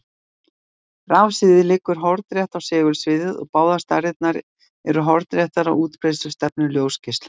Rafsviðið liggur hornrétt á segulsviðið og báðar stærðirnar eru hornréttar á útbreiðslustefnu ljósgeislans.